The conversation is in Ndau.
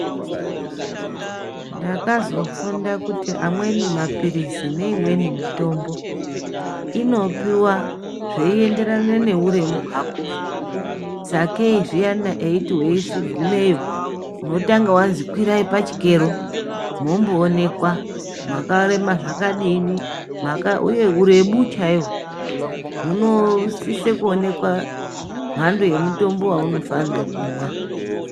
Ndakazofunda kuti amweni mapirizi neimweni mitombo inopiwa zveienderana neuremu hwako. Sakei zviyani eiti weigumeyo unotanga wazwi kwirai pachikero momboonekwa makarema zvakadii. Uye urebu chaihwo hunosise kuonekwa mhando yemutombo waufanire kumwa.